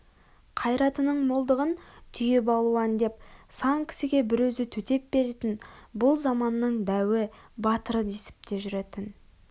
қайратының молдығын түйе балуан деп сан кісіге бір өзі төтеп беретін бұл заманның дәуі батыры десіп те жүретін